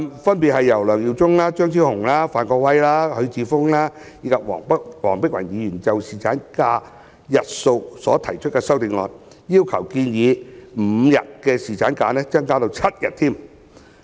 分別由梁耀忠議員、張超雄議員、范國威議員、許智峯議員及黃碧雲議員就侍產假日數所提出的修正案，要求建議5天的侍產假增至7天。